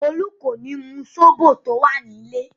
Olú kò ní mu sóbò tó wà nílè.